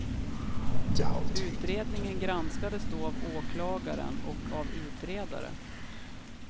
Utredningen granskades då av åklagaren och av utredare.